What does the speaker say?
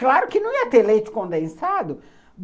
Claro que não ia ter leite condensado.